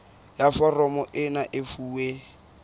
ya foromo ena e fuwe